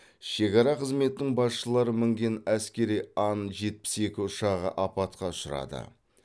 шекара қызметінің басшылары мінген әскери ан жетпіс екі ұшағы апатқа ұшырады